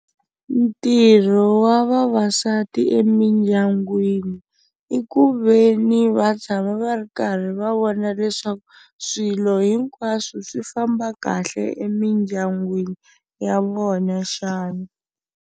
Ntirho wa vavasati emindyangwini i ku ve ni va tshama va ri karhi va vona leswaku swilo hinkwaswo swi famba kahle emindyangwini ya vona xana.